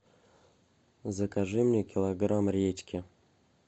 закажи мне килограмм редьки